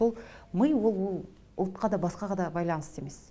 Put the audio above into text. сол ми ол ол ұлтқа да басқаға да байланысты емес